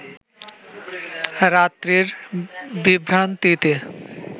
রাত্রির বিভ্রান্তিতে